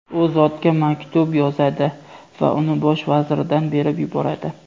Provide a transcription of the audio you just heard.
u zotga maktub yozadi va uni bosh vaziridan berib yuboradi.